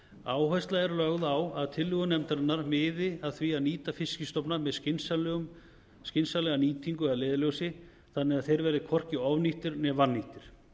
áhersla er lögð á að tillögur nefndarinnar miði að því nýta fiskstofna með skynsamlega nýtingu að leiðarljósi þannig að þeir verði hvorki ofnýttir né vannýttir